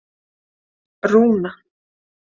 Rúna